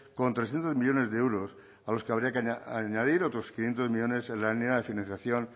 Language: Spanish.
con trescientos millónes de euros a los que habría que añadir otros quinientos millónes en la línea de financiación